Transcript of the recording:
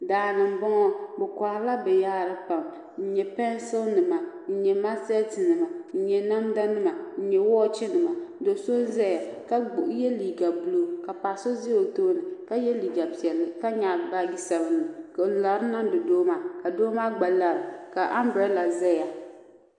Daani m boŋɔ bɛ koharila binyahari pam n nyɛ pensili nima n nyɛ maaseti nima nyɛ namda nima nyɛ woochi nima do'so zaya ka ye liiga buluu ka paɣa so za o tooni la ye liiga piɛlli ka nyaɣi baaji sabinli n lari niŋdi doo maa doo maa gba lara ka ambirada zaya.